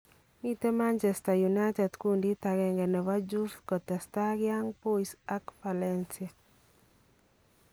Miten Manchester united kuundit agenge nebo Juve ketesta Young Boys ak Valencia.